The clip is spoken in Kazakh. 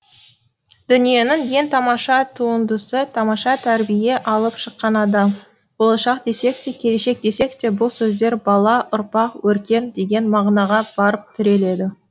дүниенің ең тамаша туындысы тамаша тәрбие алып шыққан адам болашақ десек те келешек десек те бұл сөздер бала ұрпақ өркен деген мағынаға барып тіреледі